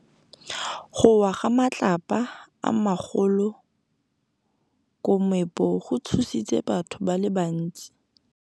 Go wa ga matlapa a magolo ko moepong go tshositse batho ba le bantsi.